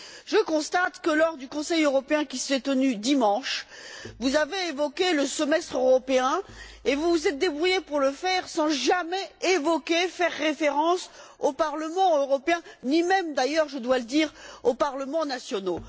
Je constate que, lors du Conseil européen qui s'est tenu dimanche, vous avez évoqué le semestre européen et vous vous êtes débrouillés pour le faire sans jamais faire référence au Parlement européen, ni même d'ailleurs je dois le dire aux parlements nationaux.